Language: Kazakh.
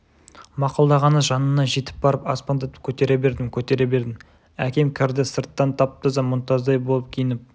мақұлдағаны жанына жетіп барып аспандатып көтере бердім көтере бердім әкем кірді сырттан тап-таза мұнтаздай болып киініп